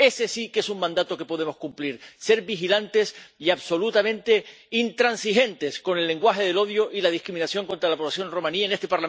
Ese sí que es un mandato que podemos cumplir ser vigilantes y absolutamente intransigentes con el lenguaje del odio y la discriminación contra la población romaní en este